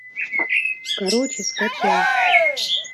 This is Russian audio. короче скачай